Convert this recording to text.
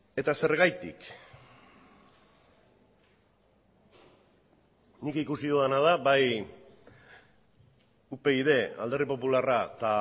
eta zergatik nik ikusi dudana da bai upyd alderdi popularra eta